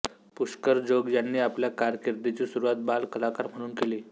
पुष्कर जोग यांनी आपल्या कारकिर्दीची सुरूवात बाल कलाकार म्हणून केली